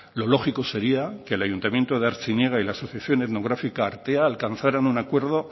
lo lógico sería que el ayuntamiento de artziniega y la asociación etnográfica artea alcanzaran un acuerdo